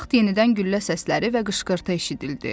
Bu vaxt yenidən güllə səsləri və qışqırtı eşidildi.